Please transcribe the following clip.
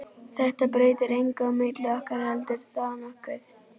Þetta breytir engu á milli okkar, heldurðu það nokkuð?